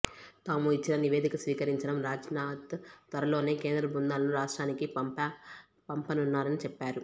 తాము ఇచ్చి న నివేదిక స్వీకరించిన రాజ్నాథ్ త్వరలోనే కేంద్ర బృందాలను రాష్ట్రానికి పం పనున్నారని చెప్పారు